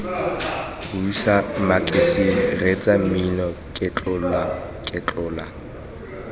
buisa makasine reetsa mmino ketlolaketlola